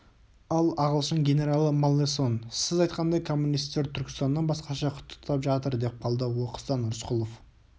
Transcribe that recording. ал ағылшын генералы маллесон сіз айтқандай коммунистер түркістаннан басқаша құттықтап жатыр деп қалды оқыстан рысқұлов